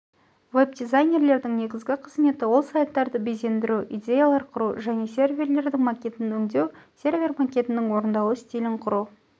веб-дизайнердің негізгі қызметі ол сайттарды безендіру идеялар құру және серверлердің макетін өңдеу сервер макетінің орындалу стилін құру